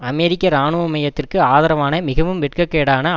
அமெரிக்க இராணுவமயத்திற்கு ஆதரவான மிகவும் வெட்கக்கேடான